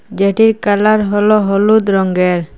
যেটির কালার হল হলুদ রঙ্গের।